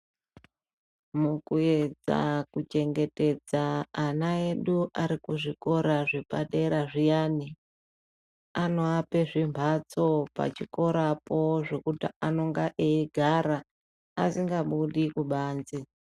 Mukuedza mukuchengetedza ana edu arikuzvikora zvepadera zviyani, anoape zvimphatso pachikorapo zvokuti anonga eigara asingabudi kubanze.